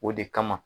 O de kama